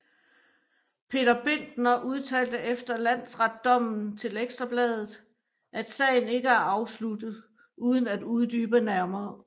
Peter Bindner udtalte efter landsretdommen til Ekstra Bladet at sagen ikke er afsluttet uden at uddybe nærmere